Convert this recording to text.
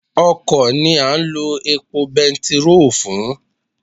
Ọkọ̀ ni a ń lo epo bẹntiróò fún.